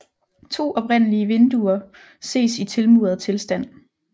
To oprindelige vinduer ses i tilmuret tilstand